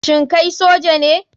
Shin kai soja ne